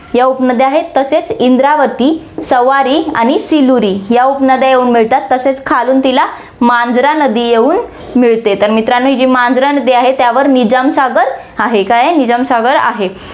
या उपनद्या आहेत. तसेच इंद्रावती, सवारी आणि सिलूरी या उपनद्या येऊन मिळतात, तसेच खालून तिला मांजरा नदी येऊन मिळते, तर मित्रांनो ही जी मांजरा नदी आहे, त्यावर निजामसागर आहे, काय आहे निजामसागर आहे.